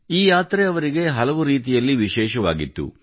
ಈ ಯಾತ್ರೆ ಅವರಿಗೆ ಹಲವು ರೀತಿಯಲ್ಲಿ ವಿಶೇಷವಾಗಿತ್ತು